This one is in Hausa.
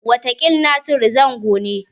Wataƙil Nasiru Zango ne.